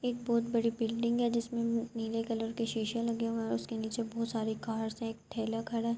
ایک بھوت بڑی بلڈنگ ہے۔ جسمے نیلے کلر کے شیشے لگے ہے۔ اسکے نیچے بھوت ساری کارس ہے۔ ایک ٹھیلا کھڈا ہے۔